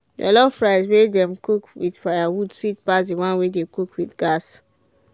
jollof rice wey dem cook with firewood sweet pass the one wey dem cook with gas.